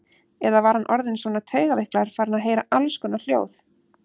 Eða var hann orðinn svona taugaveiklaður, farinn að heyra allskonar hljóð?